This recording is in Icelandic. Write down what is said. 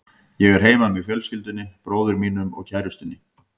Ég er heima með fjölskyldunni, bróður mínum og kærustunni.